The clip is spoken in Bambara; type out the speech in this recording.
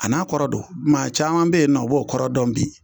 A n'a kɔrɔ don maa caman be ye nɔ o b'o kɔrɔ dɔn bi